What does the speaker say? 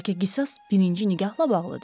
Bəlkə qisas birinci nigahla bağlıdır.